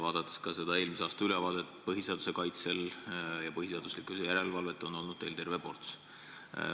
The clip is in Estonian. Vaadates seda eelmise aasta ülevaadet, on selge, et põhiseaduslikkuse järelevalvet on teil olnud terve ports.